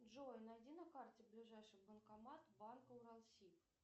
джой найди на карте ближайший банкомат банка уралсиб